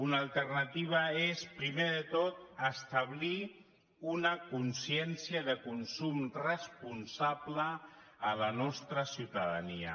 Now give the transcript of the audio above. una alternativa és primer de tot establir una consciència de consum responsable a la nostra ciutadania